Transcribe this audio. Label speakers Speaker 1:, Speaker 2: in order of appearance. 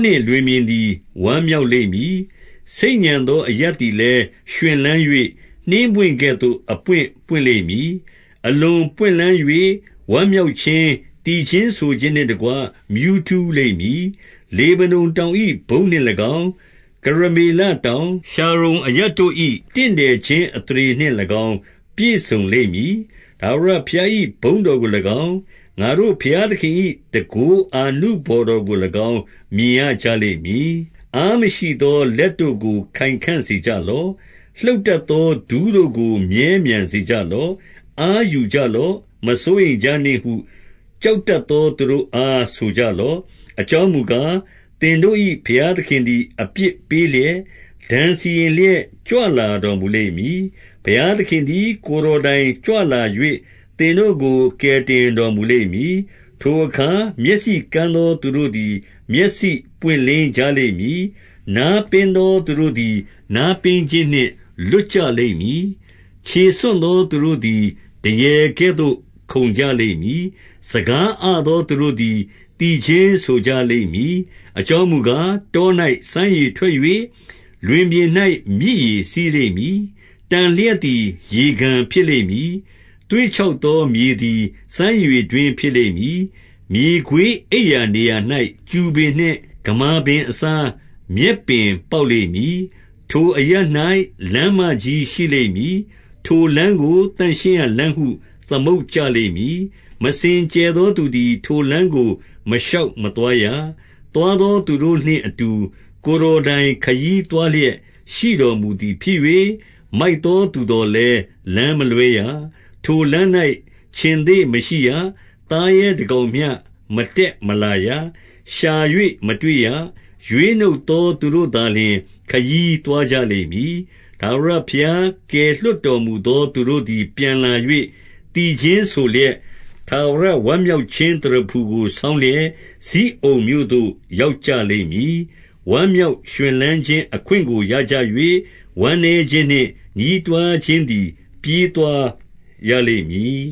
Speaker 1: နှင့် လွင်ပြင်သည် ဝမ်းမြောက်လိမ့်မည်။ ဆိတ်ညံသော အရပ်သည်လည်း ရွှင်လန်း၍၊ နှင်းပွင့်ကဲ့ သို့အပွင့် ပွင့်လိမ့်မည်။ 2 အလွန်ပွင့်လန်း၍ဝမ်းမြောက်ခြင်း၊ သီချင်းဆို ခြင်းနှင့် တကွ မြူးထူးလိမ့်မည်။ လေဗနုန်တောင်၏ ဘုန်း နှင့်၎င်း၊ ကရမေလတောင်၊ ရှာရုန်အရပ်တို့၏ တင့်တယ် ခြင်း အသရေနှင့်၎င်း ပြည့်စုံလိမ့်မည်။ ထာဝရဘုရား၏ ဘုန်းတော်ကို၎င်း၊ ငါတို့ဘုရားသခင်၏ တန်ခိုးအာနု ဘော်တော်ကို၎င်း မြင်ရကြလိမ့်မည်။ 3 အားမရှိသောလက်တို့ကို ခိုင်ခံ့စေကြလော့။ လှုပ်တတ်သော ဒူးတို့ကို မြဲမြံစေကြလော့။ 4 အားယူကြလော့၊ မစိုးရိမ်ကြနှင့်ဟု ကြောက် တတ်သော သူတို့အား ဆိုကြလော့။ အကြောင်းမူကား၊ သင်တို့၏ ဘုရားသခင်သည် အပြစ်ပေးလျက်၊ ဒဏ်စီ ရင်လျက်ကြွလာတော်မူလိမ့်မည်။ ဘုရားသခင်သည် ကိုယ်တော်တိုင် ကြွလာ၍၊ သင်တို့ကို ကယ်တင်တော်မူ လိမ့်မည်။ 5 ထိုအခါ မျက်စိကန်းသောသူတို့သည် မျက်စိပွင့် လင်းကြလိမ့်မည်။ နားပင်းသောသူတို့သည် နားပင်းခြင်း နှင့် လွတ်ကြလိမ့်မည်။ 6 ခြေဆွံ့သောသူတို့သည် ဒရယ်ကဲ့သို့ ခုန်ကြလိမ့် မည်။ စကားအသောသူတို့သည် သီချင်းဆိုကြလိမ့်မည်။ အကြောင်းမူကား၊ တော၌စမ်းရေထွက်၍၊ လွင်ပြင်၌မြစ် ရေစီးလိမ့်မည်။ 7 တံလျှပ်သည် ရေကန်ဖြစ်လိမ့်မည်။ သွေ့ ခြောက်သောမြေသည် စမ်းရေတွင်းဖြစ်လိမ့်မည်။ မြေခွေး အိပ်ရာနေရာ၌ ကျူပင်နှင့် ဂမာပင်အစား၊ မြက်ပင် ပေါက်လိမ့်မည်။ 8 ထိုအရပ်၌ လမ်းမကြီး ရှိလိမ့်မည်။ ထိုလမ်းကို သန့်ရှင်းရာလမ်းဟု သမုတ်ကြလိမ့်မည်။ မစင်ကြယ် သောသူသည် ထိုလမ်းကို မရှောက်မသွားရ။ သွားသော သူတို့နှင့်အတူ ကိုယ်တော်တိုင်ခရီးသွားလျက် ရှိတော်မူ သည်ဖြစ်၍၊ မိုက်သောသူသော်လည်း လမ်းမလွဲရ။ 9 ထိုလမ်း၌ ခြင်္သေ့မရှိရ။ သားရဲတကောင်မျှ မ တက်မလာရ။ ရှာ၍ မတွေ့ရ။ ရွေးနှုတ်သောသူတို့သာ လျှင် ခရီးသွားကြလိမ့်မည်။ 10 ထာဝရဘုရား ကယ်လွှတ်တော်မူသောသူတို့ သည် ပြန်လာ၍၊ သီချင်းဆိုလျက်၊ ထာဝရဝမ်းမြောက် ခြင်း သရဖူကို ဆောင်းလျက်၊ဇိအုန်မြို့သို့ ရောက်ကြလိမ့် မည်။ ဝမ်းမြောက်ရွှင်လန်းခြင်း အခွင့်ကို ရကြ၍၊ဝမ်း မြောက်ခြင်းနှင့် ညည်းတွားခြင်းသည် ပြေးသွားရလိမ့် မည်